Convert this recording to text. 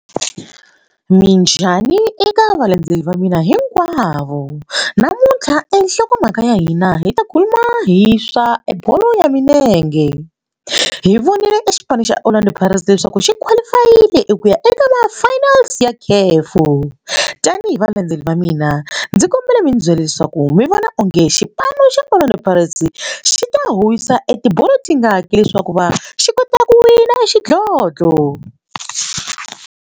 Minjhani eka valandzeleri va mina hinkwavo namuntlha enhlokomhaka ya hina hi ta khuluma hi swa e bolo ya milenge hi vonile e xipano xa Orlando pirates leswaku xi qualify-ile ku ya eka va finals ya tanihi valandzeleri va mina ndzi kombela mi ndzi byela leswaku mi vona onge xipano xa Orlando Pirates xi ta huhisa etibolo ti nga hakeli leswaku va xi kota ku wina xidlodlo.